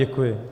Děkuji.